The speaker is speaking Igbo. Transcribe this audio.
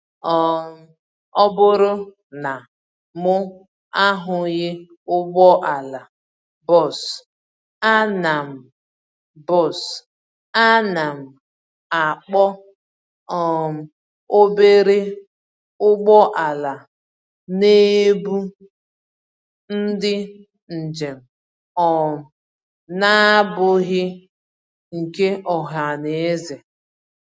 um Ọbụrụ na mụ ahụghị ụgbọala bus, ánám bus, ánám akpọ um obere ụgbọala n'ebu ndị njèm um n'abụghị nke ohaneze